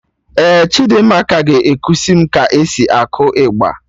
Ee, Chidimma ga-ekusi mụ ka e si akụ ịgba